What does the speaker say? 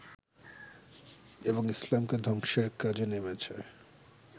এবং ইসলামকে ধ্বংসের কাজে নেমেছে